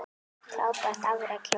Frábært afrek hjá henni.